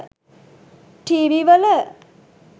TV වල